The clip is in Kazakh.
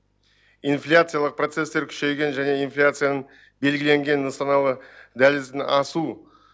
инфляциялық процестер күшейген және инфляцияның белгіленген нысаналы дәлізін асу